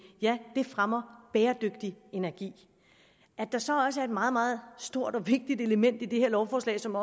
fremmer bæredygtig energi at der så også er et meget meget stort og vigtigt element i det her lovforslag som